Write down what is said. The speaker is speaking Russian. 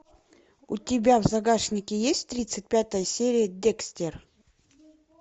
у тебя в загашнике есть тридцать пятая серия декстер